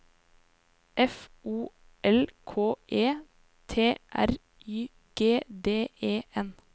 F O L K E T R Y G D E N